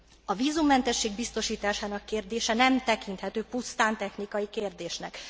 A vízummentesség biztosításának kérdése nem tekinthető pusztán technikai kérdésnek.